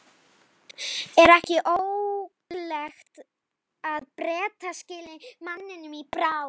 Er ekki ólíklegt að Bretar skili manninum í bráð?